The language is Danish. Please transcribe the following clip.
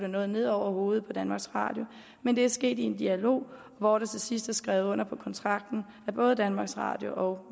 noget ned over hovedet på danmarks radio men det er sket i en dialog hvor der til sidst er skrevet under på kontrakten af både danmarks radio og